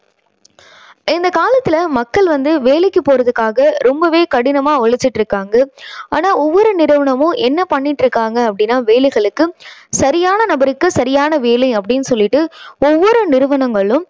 இந்தக் காலத்துல மக்கள் வந்து வேலைக்கு போறதுக்காக ரொம்பவே கடினமா உழைச்சுட்டிருக்காங்க. ஆனா ஒவ்வொரு நிறுவனமும் என்ன பண்ணிட்டு இருக்காங்க அப்படின்னா வேலைகளுக்கு சரியான நபருக்கு சரியான வேலை அப்படீன்னு சொல்லிட்டு ஒவ்வொரு நிறுவனங்களும்